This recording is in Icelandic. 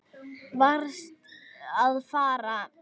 Varðst að fara.